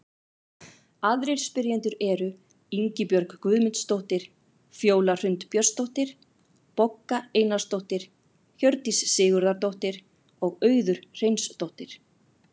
Aðrir spyrjendur eru: Ingibjörg Guðmundsdóttir, Fjóla Hrund Björnsdóttir, Bogga Einarsdóttir, Hjördís Sigurðardóttir og Auður Hreinsdóttir.